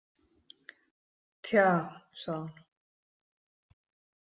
Tja, sagði hún.